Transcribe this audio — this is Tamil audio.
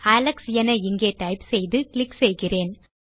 அலெக்ஸ் என இங்கே டைப் செய்து கிளிக் செய்கிறேன்